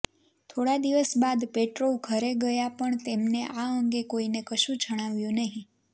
થોડા દિવસ બાદ પેટ્રોવ ઘરે ગયા પણ તેમને આ અંગે કોઈને કશું જણાવ્યું નહીં